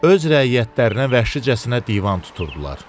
Öz rəiyyətlərinə vəhşicəsinə divan tuturdular.